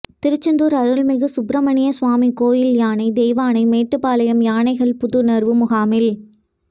திருச்செந்தூா் அருள்மிகு சுப்பிரமணிய சுவாமி கோயில் யானை தெய்வானை மேட்டுப்பாளையம் யானைகள் புத்துணா்வு முகாமில்